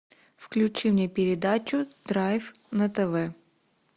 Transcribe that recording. включи мне передачу драйв на тв